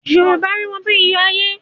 Yorùbá rí wọn bí iyọ̀ ayé.